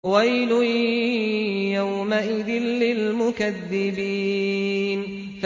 وَيْلٌ يَوْمَئِذٍ لِّلْمُكَذِّبِينَ